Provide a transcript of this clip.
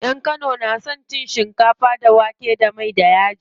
Yan kano na son cin shinkafa da wake da mai da yaji.